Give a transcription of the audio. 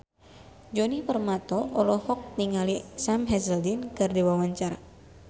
Djoni Permato olohok ningali Sam Hazeldine keur diwawancara